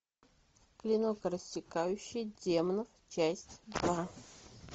клинок рассекающий демонов часть два